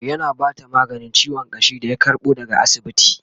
yana Bata maganin ciwon ƙashi da ya karbo daga asibiti